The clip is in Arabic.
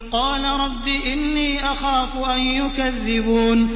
قَالَ رَبِّ إِنِّي أَخَافُ أَن يُكَذِّبُونِ